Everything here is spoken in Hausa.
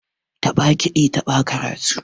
Taɓa kiɗi taɓa karatu.